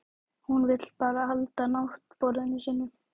Hún vill bara halda náttborðinu sínu.